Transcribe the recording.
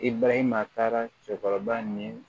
I balima taara cɛkɔrɔba ni